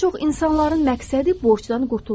Bir çox insanların məqsədi borcdan qurtulmaqdır.